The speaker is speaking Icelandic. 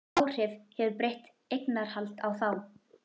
Hvaða áhrif hefur breytt eignarhald á þá?